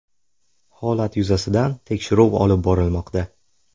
Holat yuzasidan tekshiruv olib borilmoqda.